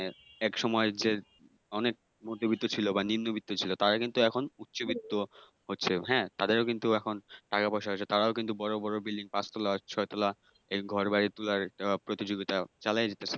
একসময় যে অনেক মধ্যবিত্ত ছিল বা নিম্ন মধ্যবিত্ত ছিল তারা কিন্তু এখন উচ্চবিত্ত হচ্ছে। তাদেরও কিন্তু এখন টাকা পয়সা আছে তারাও কিন্তু বড় বড় বিল্ডিং পাঁচ তলা, ছয় তলা ঘরবাড়ি তোলার আহ প্রতিযোগিতা চালাইয়া যাইতাছে।